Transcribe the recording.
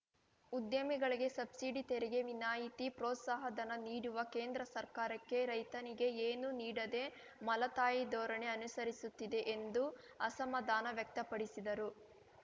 ಉದ್ಯಮಿಗಳಿಗೆ ಸಬ್ಸಿಡಿ ತೆರಿಗೆ ವಿನಾಯಿತಿ ಪ್ರೋತ್ಸಾಹಧನ ನೀಡುವ ಕೇಂದ್ರ ಸರ್ಕಾರಕ್ಕೆ ರೈತನಿಗೆ ಏನೂ ನೀಡದೇ ಮಲತಾಯಿ ಧೋರಣೆ ಅನುಸರಿಸುತ್ತಿದೆ ಎಂದೂ ಅಸಮಾಧಾನ ವ್ಯಕ್ತಪಡಿಸಿದರು